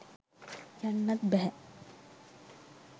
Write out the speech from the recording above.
යන්නත් බැහැ.